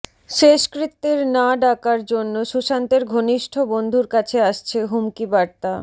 শেষকৃত্যের না ডাকার জন্য সুশান্তের ঘনিষ্ঠ বন্ধুর কাছে আসছে হুমকি বার্তা